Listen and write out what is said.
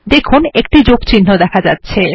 দেখুন একটি যোগচিহ্ন দেখা যাচ্ছে